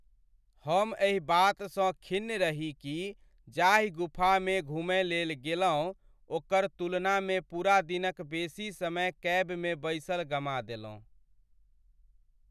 हम एहि बातसँ खिन्न रही कि जाहि गुफामे घुमय लेल गेलहुँ ओकर तुलनामे पूरा दिनक बेसी समय कैबमे बैसल गमा देलहुँ।